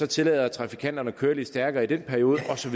tillader trafikanterne at køre lidt stærkere i den periode og så